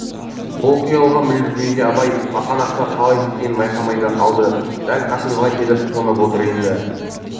бұл қиялға мүлгігенде абай бақанасқа қалай жеткенін байқамай да қалды дәл қасымызға келіп қонып отыр енді